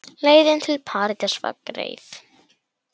Leiðin til Parísar var greið.